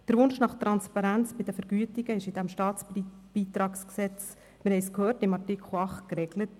Der Wunsch nach Transparenz bei den Vergütungen ist im StBG in Artikel 8 geregelt, wie wir gehört haben.